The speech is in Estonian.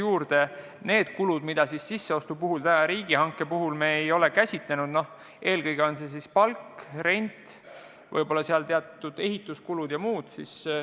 Sellega kaasnevad kulud, mida me riigihanke korras sisseostu puhul täna ei ole käsitlenud, on eelkõige palk, rent ja võib-olla teatud ehituskulud.